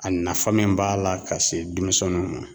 A nafa min b'a la ka se denmisɛnniw ma